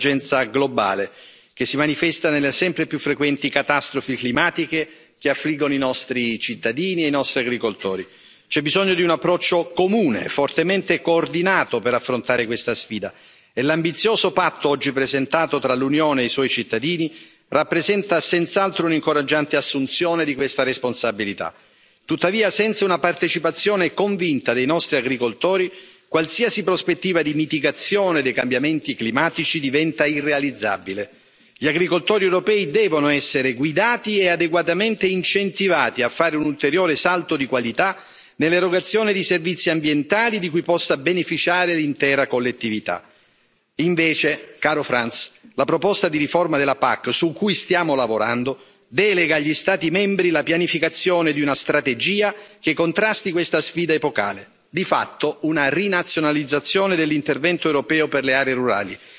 Signora Presidente, onorevoli colleghi, signor Vicepresidente Timmermans, caro Frans, siamo di fronte a un'emergenza globale che si manifesta nelle sempre più frequenti catastrofi climatiche che affliggono i nostri cittadini e i nostri agricoltori. C'è bisogno di un approccio comune e fortemente coordinato per affrontare questa sfida e l'ambizioso patto oggi presentato tra l'Unione e i suoi cittadini rappresenta senz'altro un incoraggiante assunzione di questa responsabilità. Tuttavia, senza una partecipazione convinta dei nostri agricoltori, qualsiasi prospettiva di mitigazione dei cambiamenti climatici diventa irrealizzabile. Gli agricoltori europei devono essere guidati e adeguatamente incentivati a fare un ulteriore salto di qualità nell'erogazione di servizi ambientali di cui possa beneficiare l'intera collettività. Invece, caro Frans, la proposta di riforma della PAC su cui stiamo lavorando delega agli Stati membri la pianificazione di una strategia che contrasti questa sfida epocale, di fatto una rinazionalizzazione dell'intervento europeo per le aree rurali.